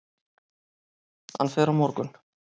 Hann fer á morgun.